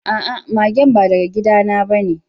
A'a, magen ba daga gida na ba ne.